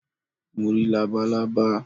Mo rí labalábá